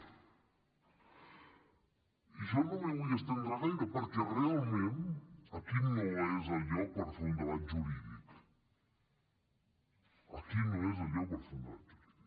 i jo no m’hi vull estendre gaire perquè realment aquí no és el lloc per fer un debat jurídic aquí no és el lloc per fer un debat jurídic